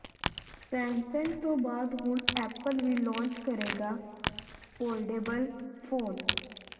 Samsung ਤੋਂ ਬਾਅਦ ਹੁਣ ਐਪਲ ਵੀ ਲਾਂਚ ਕਰੇਗਾ ਫੋਲਡੇਬਲ ਫੋਨ